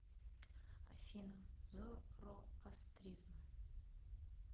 афина зороастризм